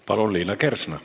Palun, Liina Kersna!